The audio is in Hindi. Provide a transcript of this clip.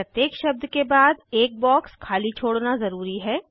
प्रत्येक शब्द के बाद एक बॉक्स खाली छोड़ना ज़रूरी है